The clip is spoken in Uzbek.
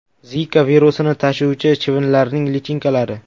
Zika virusini tashuvchi chivinlarning lichinkalari.